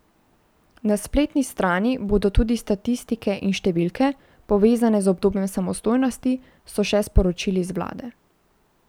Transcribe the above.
Na spletni strani bodo tudi statistike in številke, povezane z obdobjem samostojnosti, so še sporočili z vlade.